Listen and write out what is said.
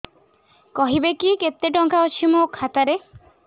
କହିବେକି କେତେ ଟଙ୍କା ଅଛି ମୋ ଖାତା ରେ